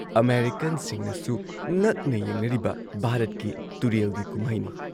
ꯑꯃꯦꯔꯤꯀꯟꯁꯤꯡꯅꯁꯨ ꯉꯛꯅ ꯌꯦꯡꯅꯔꯤꯕ ꯚꯥꯔꯠꯀꯤ ꯇꯨꯔꯦꯜꯒꯤ ꯀꯨꯝꯍꯩꯅꯤ ꯫